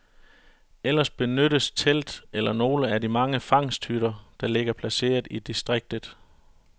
Ellers benyttes telt eller nogle af de mange fangsthytter, der ligger placeret i distriktet.